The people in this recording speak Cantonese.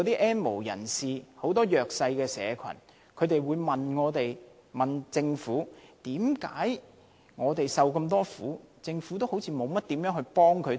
"N 無人士"和弱勢社群質疑，他們受了那麼多苦，為何政府似乎沒有措施幫助他們？